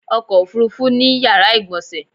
ọkò òfurufú ní yàrá ìgbọ̀nsè